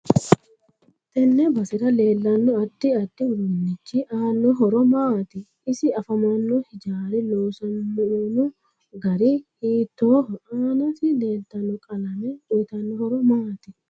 Tenne basera leelanno addi addi uduunichi aano horo maati isi afamanno hijaari loosamono gari hiitooho aansi leeltano qalame uyiitanno horo maati